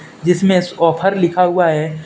जिसमें ऑफर लिखा हुआ है।